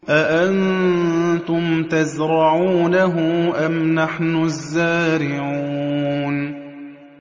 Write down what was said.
أَأَنتُمْ تَزْرَعُونَهُ أَمْ نَحْنُ الزَّارِعُونَ